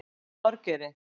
Var hún með Þorgeiri?